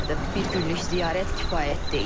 Bir günlük ziyarət kifayət deyil.